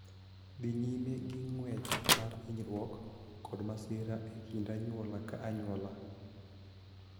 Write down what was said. Dhi nyime gi ng�wech mar hinyruok kod masira e kind anyuola ka anyuola.